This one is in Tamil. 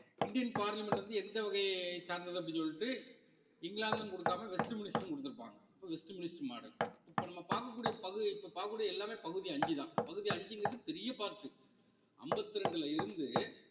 இந்தியன் parliament வந்து எந்த வகைய சார்ந்தது அப்படின்னு சொல்லிட்டு இங்கிலாந்துன்னு கொடுக்காம வெஸ்ட் மினிஸ்டர்ன்னு கொடுத்திருப்பாங்க அப்ப வெஸ்ட் மினிஸ்டர் model இப்ப நம்ம பார்க்கக்கூடிய பகுதி இப்ப பார்க்கக்கூடிய எல்லாமே பகுதி அஞ்சுதான் பகுதி அஞ்சுங்கிறது பெரிய part உ அம்பத்தி ரெண்டுல இருந்து